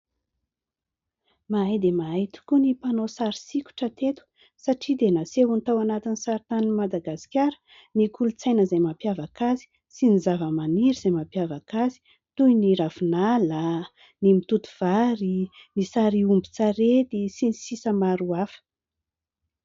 Mahay dia mahay tokoa ny mpanao sary sokitra teto satria dia nasehony tao anatin'ny sarintanin'i Madagasikara ny kolontsaina izay mampiavaka azy sy ny zavamaniry izay mampiavaka azy toy : ny ravinala, ny mitoto vary, ny sary omby ombin-tsarety, sy ny sisa maro hafa.